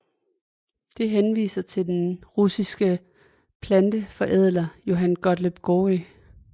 Det henviser til den russiske planteforædler Johann Gottlieb Georgi